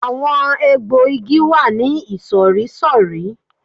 Àwọn egbò igi wà ní ìsòrísòrí